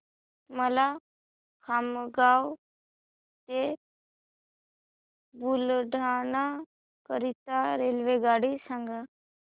मला खामगाव ते बुलढाणा करीता रेल्वेगाडी सांगा